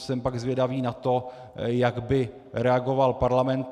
Jsem pak zvědavý na to, jak by reagoval Parlament.